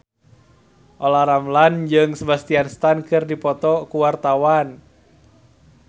Olla Ramlan jeung Sebastian Stan keur dipoto ku wartawan